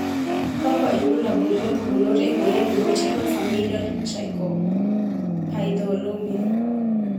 Kakwa ilbulabul ompukunot emoyian e Multiple familial trichoepithelioma?